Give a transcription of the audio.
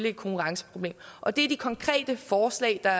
et konkurrenceproblem og det er de konkrete forslag der